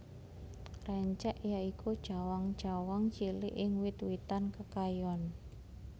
Rencek ya iku cawang cawang cilik ing wit witan kekayon